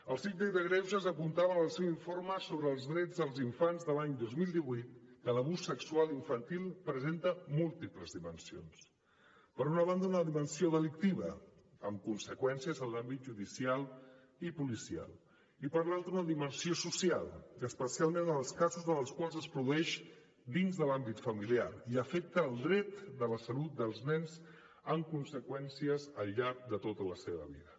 el síndic de greuges apuntava en el seu informe sobre els drets dels infants de l’any dos mil divuit que l’abús sexual infantil presenta múltiples dimensions per una banda una dimensió delictiva amb conseqüències en l’àmbit judicial i policial i per l’altra una dimensió social i especialment en els casos en els quals es produeix dins de l’àmbit familiar i afecta el dret de la salut dels nens amb conseqüències al llarg de tota la seva vida